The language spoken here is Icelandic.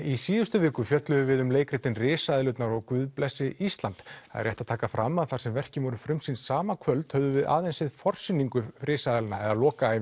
í síðustu viku fjölluðum við um leikritin risaeðlurnar og Guð blessi Ísland rétt er að taka fram að þar sem verkin voru frumsýnd sama kvöld höfðum við aðeins séð forsýningu risaeðlanna